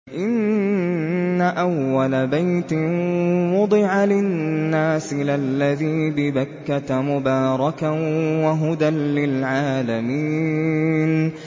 إِنَّ أَوَّلَ بَيْتٍ وُضِعَ لِلنَّاسِ لَلَّذِي بِبَكَّةَ مُبَارَكًا وَهُدًى لِّلْعَالَمِينَ